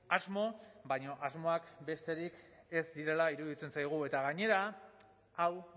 asmo baina asmoak besterik ez direla iruditzen zaigu eta gainera hau